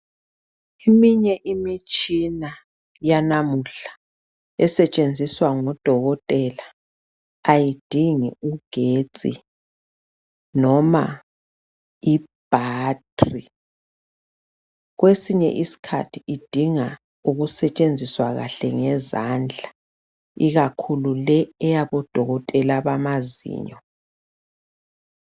Eminye imitshina yanamuhla iesetshenziswa ngodokotela, ayidingi igetsi noma ibattery. Kwesinye isikhathi idinga nje ukusetshenziswa kuhle, ngezandla. Ikakhulu le eyabodokotela bamazinyo.